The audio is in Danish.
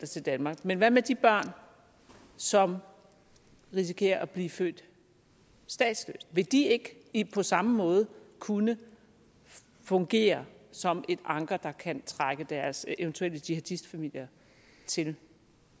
til danmark men hvad med de børn som risikerer at blive født statsløse vil de ikke ikke på samme måde kunne fungere som et anker der kan trække deres eventuelle jihadistfamilier til